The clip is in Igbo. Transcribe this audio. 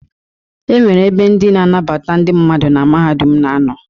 E nwere ebe ndị na-anabata ndị mmadụ na mahadum na-anọ.